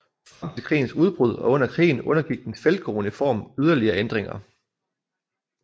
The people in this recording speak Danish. Frem til krigens udbrud og under krigen undergik den feltgrå uniform yderligere ændringer